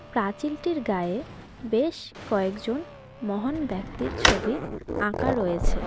প্রাচীলটির গায়ে বেশ কয়েকজন মহান ব্যক্তির ছবি আঁকা রয়েছে.